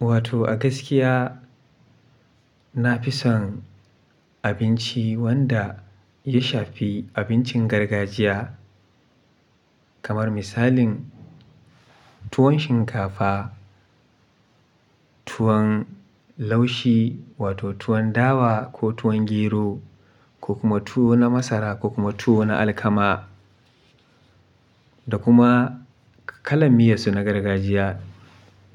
Wato a gaskiya na fi son abinci wanda ya shafi abincin gargajiya kamar misalin tuwon shinkafa, tuwon laushi wato tuwon dawa ko tuwon gero. Ko kuma tuwo na masara ko kuma tuwo na alkama da kuma kalan miyansu na gargajiya.